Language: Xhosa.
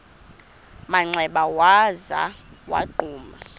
manxeba waza wagquma